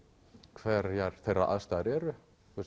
hverjar þeirra aðstæður eru